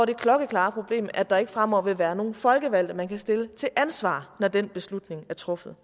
det klokkeklare problem at der fremover ikke vil være nogen folkevalgte man kan stille til ansvar når den beslutning er truffet